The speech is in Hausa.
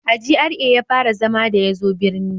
A GRA ya fara zama da ya zo birni